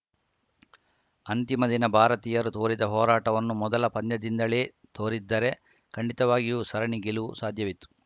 ಅಂತಿಮ ದಿನ ಭಾರತೀಯರು ತೋರಿದ ಹೋರಾಟವನ್ನು ಮೊದಲ ಪಂದ್ಯದಿಂದಲೇ ತೋರಿದ್ದರೆ ಖಂಡಿತವಾಗಿಯೂ ಸರಣಿ ಗೆಲುವು ಸಾಧ್ಯವಿತ್ತು